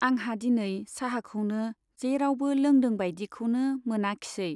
आंहा दिनै चाहाखौनो जेरावबो लोंदों बाइदिखौनो मोनाखिसै।